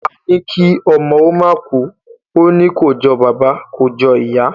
Àní kí ọmọ ó máa kú, òní kò jọ bàbà, kò jọ ìyá.